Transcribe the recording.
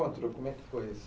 Como é que foi isso?